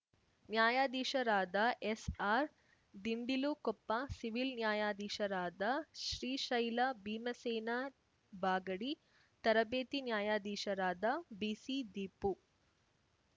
ನ್ಯಾಯಾದೀಶರಾದ ಎಸ್‌ಆರ್‌ದಿಂಡಿಲುಕೊಪ್ಪ ಸಿವಿಲ್‌ ನ್ಯಾಯಾದೀಶರಾದ ಶ್ರೀಶೈಲ ಭೀಮಸೇನಾ ಬಾಗಡಿ ತರಬೇತಿ ನ್ಯಾಯದೀಶರಾದ ಬಿಸಿದೀಪು